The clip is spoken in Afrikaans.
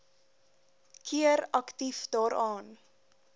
keer aktief daaraan